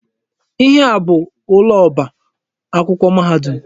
Ihe a bụ ụlọ ọba akwụkwọ mahadum.